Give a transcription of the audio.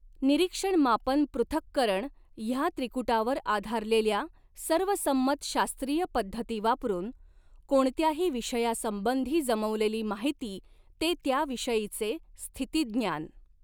निरीक्षण मापन पॄथक्करण ह्या त्रिकूटावर आधारलेल्या सर्वसंमत शास्त्रीय पद्धती वापरून कोणत्याही विषयासंबंधी जमवलेली माहिती ते त्या विषयीचे स्थितिज्ञान.